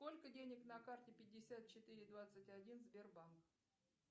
сколько денег на карте пятьдесят четыре двадцать один сбербанк